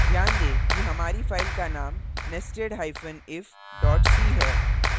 ध्यान दें कि हमारी file का name nestedif c है